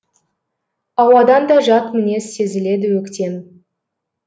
ауадан да жат мінез сезіледі өктем